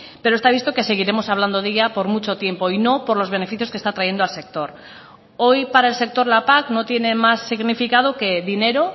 pero está visto que seguiremos hablando de ella por mucho tiempo y no por los beneficios que está trayendo al sector hoy para el sector la pac no tiene más significado que dinero